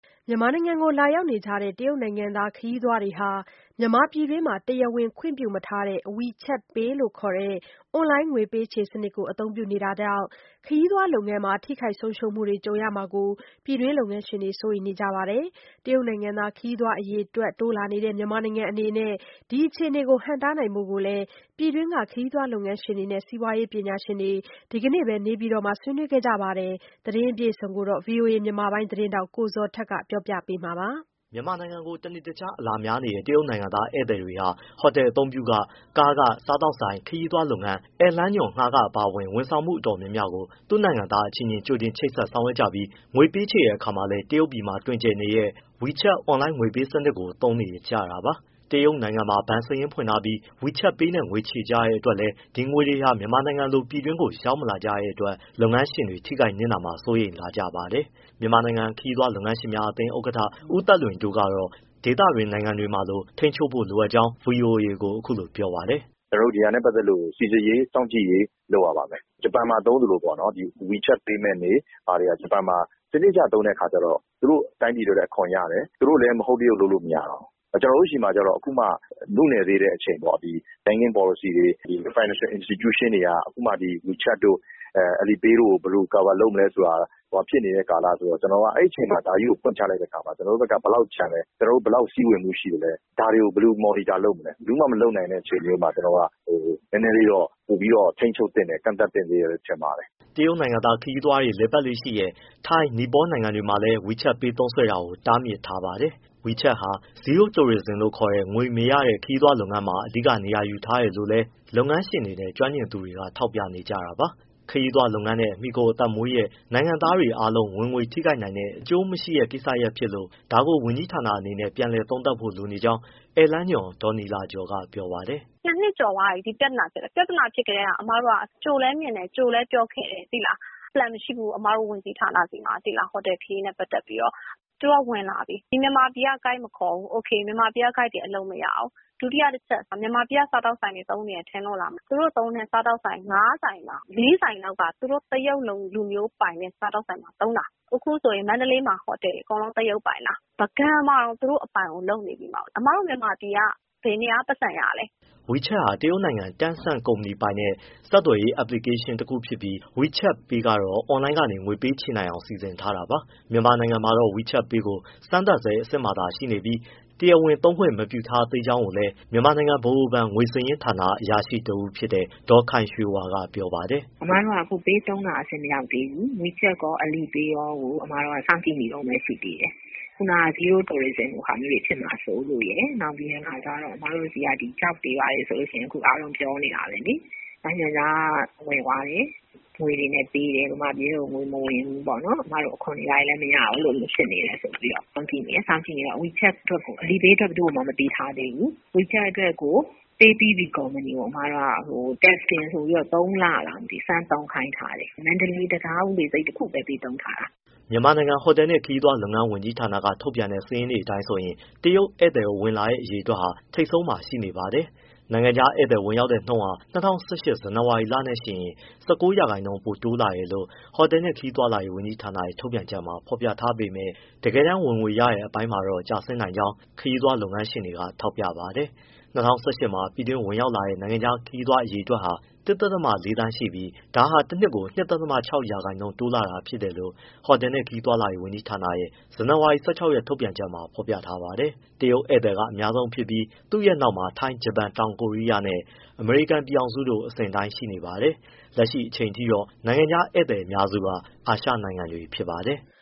မြန်မာနိုင်ငံကို လာရောက်နေကြတဲ့ တရုတ်နိုင်ငံသား ခရီးသွားတွေဟာ ပြည်တွင်းမှာ တရားဝင် ခွင့်ပြုမထားတဲ့ WeChat Pay လို့ခေါ်တဲ့ အွန်လိုင်းငွေပေးချေစနစ်ကို အသုံးပြုနေတာကြောင့် ခရီးသွားလုပ်ငန်းမှာ ထိခိုက်ဆုံးရှုံးမှုတွေ ကြုံရမှာကို ပြည်တွင်းက လုပ်ငန်းရှင်တွေ စိုးရိမ်နေကြပါတယ်။ တရုတ်နိုင်ငံသား ခရီးသွားအရေအတွက် တိုးလာနေတဲ့ မြန်မာနိုင်ငံအနေနဲ့ ဒီအခြေအနေကို ဟန့်တားနိုင်ဖို့လည်း ပြည်တွင်းက ခရီးသွားလုပ်ငန်းရှင်တွေ၊ စီးပွားရေး ပညာရှင်တွေ ဒီနေ့ပဲ နေပြည်တော်မှာ ဆွေးနွေးခဲ့ကြတာပါ။ အပြည့်အစုံကိုတော့ ဗွီအိုအေ မြန်မာပိုင်း သတင်းထောက် ကိုဇော်ထက်က ပြောပြပေးမှာပါ။ မြန်မာနိုင်ငံကို တနေ့တခြား အလာများနေကြတဲ့ တရုတ်နိုင်ငံသား ဧည့်သည်တွေဟာ ဟိုတယ်အသုံးပြုခ၊ ကားငှားခ၊ စားသောက်ဆိုင်၊ ခရီးသွားလုပ်ငန်း၊ ဧည့်လမ်းညွှန်ငှားခ အပါအဝင် ဝန်ဆောင်မှု တော်တော်များများကို သူ့နိုင်ငံသားအချင်းချင်း ကြိုတင်ချိတ်ဆက် ဆောင်ရွက်ကြပြီး ငွေပေးချေတဲ့အခါမှာလည်း တရုတ်ပြည်မှာ တွင်ကျယ်နေတဲ့ WeChat အွန်လိုင်းငွေပေးချေ စနစ်ကိုပဲ သုံးနေကြတာပါ။ တရုတ်နိုင်ငံမှာ ဘဏ်စာရင်းဖွင့်ထားပြီး WeChat Pay နဲ့ ငွေချေကြတဲ့အတွက်လည်း ဒီငွေတွေဟာ မြန်မာနိုင်ငံလို ပြည်တွင်းကို ရောက်မလာကြတဲ့အတွက် လုပ်ငန်းရှင်တွေ ထိခိုက်နစ်နာမှာ စိုးရိမ်လာကြပါတယ်။ မြန်မာနိုင်ငံ ခရီးသွားလုပ်ငန်းရှင်များအသင်း ဥက္ကဋ္ဌ ဦးသက်လွင်တိုးကတော့ ဒေသတွင်း နိုင်ငံတွေမှာလို ထိန်းချုပ်ဖို့ လိုအပ်ကြောင်း ဗွီအိုအေကို အခုလိုပြောပါတယ်။ “ကျနော်တို့ ဒီဟာနဲ့ပတ်သက်လို့ စိစစ်ရေး၊ စောင့်ကြည့်ရေး လုပ်ရပါမယ်။ ဂျပန်မှာ သုံးသလိုပေါ့နော် WeChat Payment တွေဟာ ဂျပန်မှာ စနစ်တကျ သုံးတဲ့အခါကျတော့ သူတို့တိုင်းပြည် အတွက်လည်း အခွန်ရတယ်။ သူတို့လည်း မဟုတ်တရုတ်လုပ်လို့မရတော့ဘူး။ ကျနော်တို့ဆီမှကျတော့ အခုမှနုနယ်သေးတဲ့ အချိန်ပေါ့။ banking policy တွေ၊ Financial Institution တွေက အခုမှ WeChat တို့၊ Alipay တို့ကို ဘယ်လို cover လုပ်မလဲဆိုတာ ဟိုဟာဖြစ် နေတဲ့ ကာလဆိုတော့ အဲဒီအချိန်မှာ ဒါကြီး ကိုဖွင့်ချလိုက်တဲ့အခါမှာ ကျနော်တို့ဘက်က ဘယ်လောက်ကျန်လဲ၊ ဘယ်လောက်စီးဝင်မှုရှိလဲ၊ ဒါတွေကိုဘယ်လို monitor မလဲ ဘယ်သူမှ မလုပ်နိုင်တဲ့ အချိန်မျိုးမှာ နည်းနည်းလေးတော့ ပိုပြီးထိန်းချုပ်သင့်တယ်၊ ကန့်သတ်သင့်သေးတယ်လို့ ထင်ပါတယ်။” တရုတ်နိုင်ငံသား ခရီးသွားတွေ လည်ပတ်လေ့ရှိတဲ့ ထိုင်းနဲ့ နီပေါ နိုင်ငံတွေမှာလည်း WeChat Pay သုံးစွဲတာကို တားမြစ်ထားပါတယ်။ WeChat ဟာ Zero Tourism လို့ခေါ်ကြတဲ့ ငွေမရတဲ့ ခရီးသွားလုပ်ငန်းမှာ အဓိက နေရာယူထားတယ်လို့လည်း လုပ်ငန်းရှင်တွေနဲ့ ကျွမ်းကျင်သူတွေ ထောက်ပြနေကြတာပါ။ ခရီးသွားလုပ်ငန်းနဲ့မှီခိုအသက်မွေးတဲ့ နိုင်ငံသားတွေအားလုံး ဝင်ငွေထိခိုက်နိုင်တဲ့ အကျိုးမရှိတဲ့ ကိစ္စရပ်ဖြစ်လို့ ဒါကို ဝန်ကြီးဌာနအနေနဲ့ ပြန်သုံးသပ်ဖို့လိုနေကြောင်း ဧည့်လမ်းညွှန် ဒေါ်နီလာကျော်က ပြောပါတယ်။ “၂ နှစ်ကျော်သွားပြီ ဒီ ပြဿနာ ဖြစ်လာတာ၊ ပြဿနာဖြစ်ကတည်းက ကြိုလည်း မြင်တယ်၊ ကြိုလည်းပြောခဲ့တယ်။ plan မရှိဘူး။ အမတို့ ဝန်ကြီးဌာနဆီမှာ ဟိုတယ်ခရီးနဲ့ပတ်သက်ပြီးတော့။ သူတို့က ဝင်လာပြီ ဒီမြန်မာပြည်က ဂိုက်မခေါ်ဘူး။ မြန်မာပြည်က တိုးဂိုက်တွေ အလုပ်မရဘူး။ ဒုတိယတချက် မြန်မာပြည်က စားသောက်ဆိုင်တွေ သုံးနေတယ်ထင်လို့လား.... သူတို့သုံးတဲ့ စားသောက်ဆိုင် ငါးဆိုင်မှာ လေးဆိုင်က သူတို့တရုတ်လူမျိုးပိုင်တဲ့စားသောက်ဆိုင်မှာ သုံးတာ။ အခုမန္တလေးမှာ ဟိုတယ်တွေ အကုန်လုံး တရုတ်ပိုင်တာ၊ ပုဂံမှာတောင် သူတို့အပိုင်လုပ်နေပြီ။ အမတို့ မြန်မာပြည်က ဘယ်နေရာက ပိုက်ဆံရလဲ။” WeChat ဟာ တရုတ်နိုင်ငံ Tencent ကုမ္ပဏီပိုင်ထားတဲ့ ဆက်သွယ်ရေး အက်ပလီကေးရှင်းတခုဖြစ်ပြီး WeChat Pay ကတော့ အွန်လိုင်းကနေ ငွေပေးချေနိုင်အောင် စီစဉ်ထားတာပါ။ မြန်မာနိုင်ငံမှာတော့ WeChat Pay ကို စမ်းသပ်ဆဲ အဆင့်မှာသာ ရှိနေပြီး တရားဝင် သုံးခွင့်ပြု မထားသေးဘူးလို့လည်း မြန်မာနိုင်ငံဗဟိုဘဏ် ငွေစာရင်းဌာန အရာရှိတဦးဖြစ်တဲ့ ဒေါ်ခိုင်ရွှေဝါက ပြောပါတယ်။ “အမတို့က အခုပေးသုံးတာ အဆင့်မရောက်သေးဘူး။ WeChat ရော၊ Alipay ရော အမတို့က စောင့်ကြည့်နေတုန်းပဲ ရှိသေးတယ်။ ခုနကလို ဇီးရိုး တိုရစ်ဇင်လို ဟာမျိုးတွေဖြစ်မှာစိုးလို့ ပြီးတော့ အမတို့ဆီက ကျောက်တွေဘာတွေ အားလုံးပြောနေတာပဲလေ။ နိုင်ငံခြားဝယ်သွားတယ် မြန်မာပြည်ထဲ ငွေမဝင်ဘူးပေါ့။ အမတို့ အခွန်တွေဘာတွေလည်း မရဘူးဖြစ်နေတယ် ဆိုပြီးတော့ စောင့်ကြည့်နေတယ်။ Alipay အတွက်ကို ဘယ်သူကိုမှ မပေးထားသေးဘူး။ WeChat အတွက်ကို Paypb Company ကို စမ်းသပ်ကာလဆိုပြီး ၃ လစမ်းသုံးခိုင်းထားတယ်။ မန္တလေး တံတားဦးလေဆိပ်တခုပဲ စမ်းသုံးခိုင်းထားတာ။” မြန်မာနိုင်ငံ ဟိုတယ်နှင့်ခရီးသွားလုပ်ငန်းဝန်ကြီးဌာနက ထုတ်ပြန်တဲ့ စာရင်းတွေအတိုင်းဆိုရင် တရုတ်ဧည့်သည်ဝင်လာတဲ့ အရေအတွက်ဟာ ထိပ်ဆုံးမှာ ရှိနေပါတယ်။ နိုင်ငံခြားဧည့်သည် ဝင်ရောက်တဲ့နှုန်းဟာ ၂၀၁၈ ဇန်နဝါရီလနဲ့ယှဉ်ရင် ၁၉ ရာခိုင်နှုန်း ပိုတိုးလာတယ်လို့ ဟိုတယ်နှင့်ခရီးသွားလာရေး ဝန်ကြီးဌာနရဲ့ ထုတ်ပြန်ချက်မှာ ဖော်ပြထားပေမဲ့ တကယ်တမ်း ဝင်ငွေရတဲ့ အပိုင်းမှာတော့ ကျဆင်းနိုင်ကြောင်း ခရီးသွားလုပ်ငန်းရှင်တွေကထောက်ပြပါတယ်။ ၂၀၁၈ မှာ ပြည်တွင်းဝင်ရောက်ခဲ့တဲ့ နိုင်ငံခြားခရီးသွား အရေအတွက်ဟာ ၁.၄ မီလီယံရှိပြီး ဒါဟာတနှစ်ကို ၂.၆ ရာခိုင်နှုန်း တိုးလာတာဖြစ်တယ်လို့ ဟိုတယ်နှင့်ခရီးသွားလာရေး ဝန်ကြီးဌာနရဲ့ ဇန်နဝါရီ ၁၆ ရက် ထုတ်ပြန်ချက်မှာ ဖော်ပြထားပါတယ်။ တရုတ်ဧည့်သည်က အများဆုံးဖြစ်ပြီး သူ့ရဲ့နောက်မှာ ထိုင်း၊ ဂျပန်၊ တောင်ကိုရီးယားနဲ့ အမေရိကန်ပြည်ထောင်စုတို့ အစဉ်အတိုင်းရှိပါတယ်။ လက်ရှိအချိန်အထိတော့ နိုင်ငံခြားဧည့်သည်အများစုက အာရှနိုင်ငံတွေက ဖြစ်ပါတယ်။